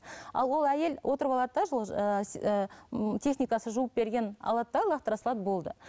ал ол әйел отырып алады да сол ыыы ыыы техникасы жуып берген алады да лақтыра салады болды